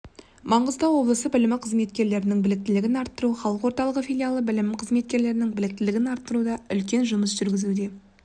мағыстау облысы білім қызметкерлерінің біліктілігін арттыру халық орталығы филиалы білім қызметкерлерінің біліктілігін арттыруда үлкен жұмыс жүргізуде